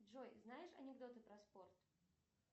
джой знаешь анекдоты про спорт